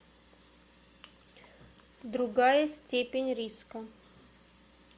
другая степень риска